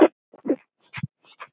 Þau smituðu út frá sér.